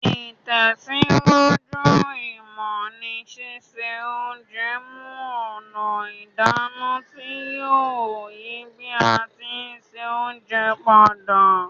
Ìtẹ̀síwájú ìmọ́ ni sise onje mu ònà ìdáná ti yio yi bi a ti n se ounje padà